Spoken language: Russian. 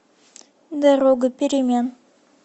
дорога перемен